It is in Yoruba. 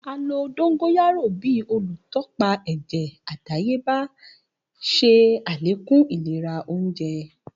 A lo dongoyaro bi olutọpa ẹjẹ adayeba, ṣe alekun ilera ounjẹ.